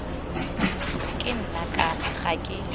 ke nna kana ga ke